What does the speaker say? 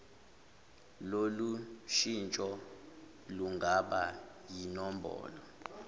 lolushintsho lungaba yinombholo